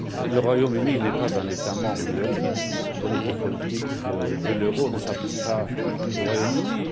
Le Royaume Uni n'est pas un État membre de l'euro, donc les politiques de l'euro ne s'appliquent pas au Royaume Uni.